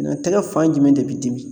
Na tɛgɛ fan jumɛn de bi dimi?